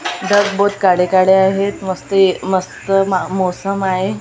ढग बहुत काडे काडे आहेत मस्त ए मस्त म मौसम आहे आन --